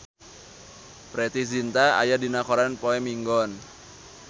Preity Zinta aya dina koran poe Minggon